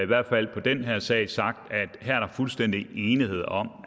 hvert fald på den her sag sagt at fuldstændig enighed om